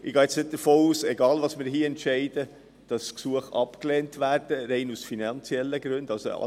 Unabhängig davon, was wir hier entscheiden, gehe ich nicht davon aus, dass Gesuche rein aus finanziellen Gründen abgelehnt werden.